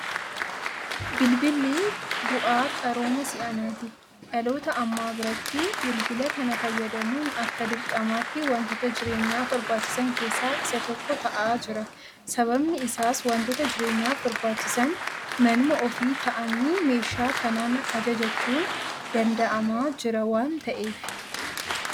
Bilbilli bu'aa qarooma si'anaati. Dhaloota ammaa biratti bilbila kana fayyadamuun akka dirqamaatti waantota jireenyaaf barbaachisan keessaa isa tokko ta'aa jira. Sababni isaas waantota jireenyaaf barbaachisan manuma ofii taa'anii meeshaa kanaan ajajachuun danda'amaa jira waanta'eefi.